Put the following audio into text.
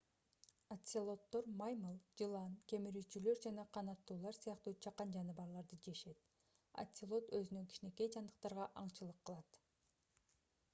оцелоттор маймыл жылан кемирүүчүлөр жана канаттуулар сыяктуу чакан жаныбарларды жешет оцелот өзүнөн кичинекей жандыктарга аңчылык кылат